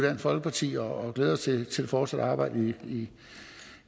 folkeparti og glæder os til det fortsatte arbejde i